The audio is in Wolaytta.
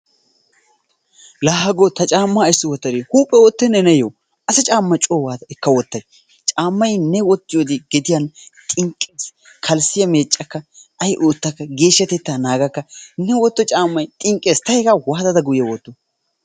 Laa hagoo ta caammaa ayssi wottadi huuphphee oottennee neeyoo? Asa camma coo waattada eka wottay caammay ne wottiyode gediyan xinqqees, kalssiya meeccakka, ay oottakka geeshshatettaa naagakka ne wotyo caammay xinqqees ta hegaa waattada guye wottoo?